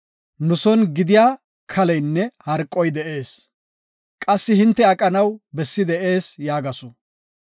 Nu son gidiya kaleynne harqoy de7ees; qassi hinte aqanaw bessi de7ees” yaagasu.